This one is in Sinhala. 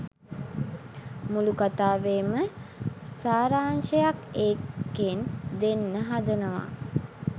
මුළු කතාවේම සාරාංශයක් ඒකෙන් දෙන්න හදනවා